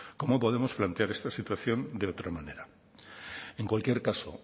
cómo podemos plantear esta situación de otra manera en cualquier caso